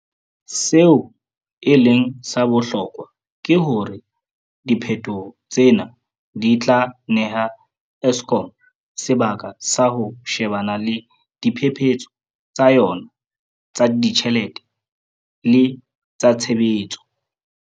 Seo e leng sa bohlokwa ke hore diphetoho tsena di tla neha Eskom sebaka sa ho she-bana le diphephetso tsa yona tsa ditjhelete le tsa tshebetso.